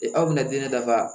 E aw bɛna den dafa